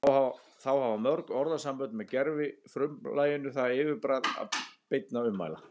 Þá hafa mörg orðasambönd með gervifrumlaginu það yfirbragð beinna ummæla